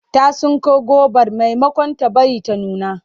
Ta tsinko gobar maimakon ta bari ta nuna.